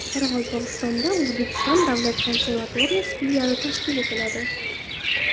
Qoraqalpog‘istonda O‘zbekiston davlat konservatoriyasi filiali tashkil etiladi.